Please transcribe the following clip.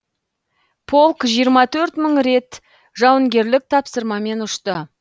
полк жиырма төрт мың рет жауынгерлік тапсырмамен ұшты